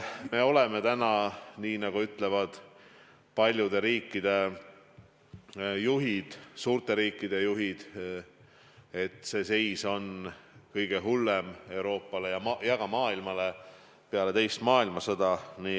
Me oleme täna olukorras, kus, nagu ütlevad paljude riikide juhid, ka suurte riikide juhid, meie seis on kõige hullem nii Euroopas kui ka mujal maailmas peale teist maailmasõda.